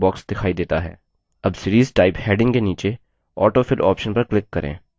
अब series type heading के नीचे autofill option पर click करें